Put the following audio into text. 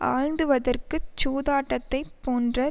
ஆழ்த்துவதற்குச் சூதாட்டத்தைப் போன்ற